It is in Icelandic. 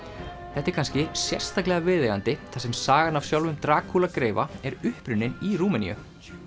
þetta er kannski sérstaklega viðeigandi þar sem sagan af sjálfum Drakúla greifa er upprunnin í Rúmeníu